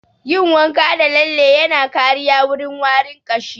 Yin wanka da lalle yana kariya wurin warin ƙashi